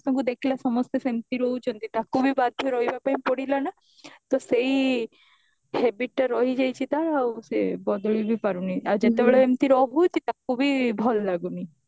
ଦେଖିଲା ସମସ୍ତେ ସେମିତି ରହୁଛନ୍ତି ତାକୁ ବି ବାଧ୍ୟ ରହିବ ପାଇଁ ପଡିଲା ନା ତ ସେଇ habit ଟା ରହି ଯାଇଛି ତାର ଆଉ ସେ ଆଉ ବଦଳେଇ ବି ପାରୁନି ଆଉ ଯେତେବେଳେ ଏମିତି ରହୁଛି ତାକୁ ବି ଭଲ ଲାଗୁନି